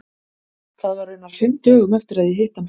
Það var raunar fimm dögum eftir að ég hitti hann fyrst.